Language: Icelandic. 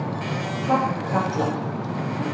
Hrafnkatla